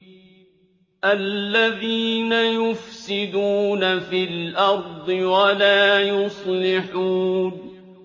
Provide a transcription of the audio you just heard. الَّذِينَ يُفْسِدُونَ فِي الْأَرْضِ وَلَا يُصْلِحُونَ